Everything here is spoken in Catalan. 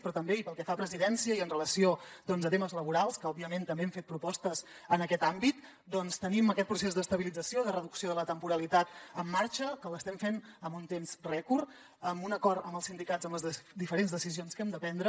però també i pel que fa a presidència i amb relació a temes laborals que òbviament també hem fet propostes en aquest àmbit doncs tenim aquest procés d’estabilització de reducció de la temporalitat en marxa que l’estem fent en un temps rècord amb un acord amb els sindicats en les diferents decisions que hem de prendre